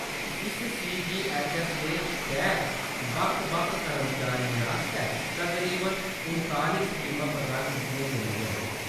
इस सीजीऐच्चऐस्स दे तैह्‌‌‌त बक्ख-बक्ख कर्मचारियें आस्तै तकरीबन उनताली स्कीमां प्रदान कीतियां जंदियां न।